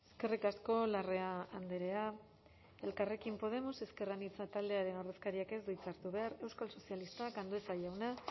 eskerrik asko larrea andrea elkarrekin podemos ezker anitza taldearen ordezkariak ez du hitza hartu behar euskal sozialistak andueza jauna